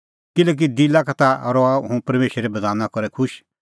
किल्हैकि दिला का ता रहा हुंह परमेशरे बधाना करै खुश